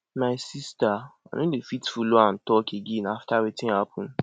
my sister i no dey fit follow am talk again after wetin happen